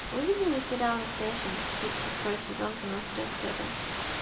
выведи мне сериал настоящий детектив шестой сезон двенадцатая серия